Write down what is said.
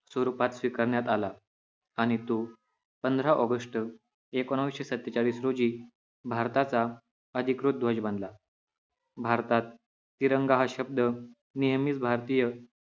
स्वरुपात स्वीकारण्यात आला आणि तो पंधरा ऑगस्ट एकोणीशे सतेंचाळीस रोजी भारताचा अधिकृत ध्वज बनला भारतात तिरंगा हा शब्द नेहमीच भारतीय